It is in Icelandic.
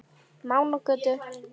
Mánagötu